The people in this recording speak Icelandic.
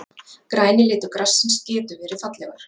Græni litur grassins getur verið fallegur.